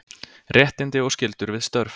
Réttindi og skyldur við störf.